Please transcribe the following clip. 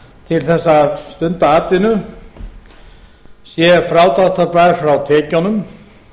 til þess að stunda atvinnu sé frádráttarbær frá tekjunum